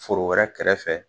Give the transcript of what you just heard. Foro wɛrɛ kɛrɛfɛ